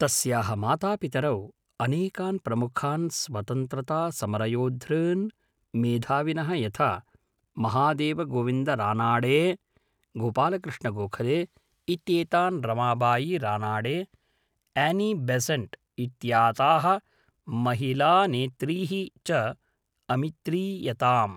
तस्याः मातापितरौ अनेकान् प्रमुखान् स्वतन्त्रतासमरयोद्धॄन् मेधाविनः यथा महादेवगोविन्दरानाडे, गोपालकृष्णगोखले, इत्येतान् रमाबायी रानाडे, एनी बेजन्त् इत्याताः महिलानेत्रीः च अमित्रीयताम्।